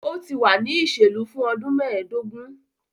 O ti wa ni oselu fun ọdun meedogun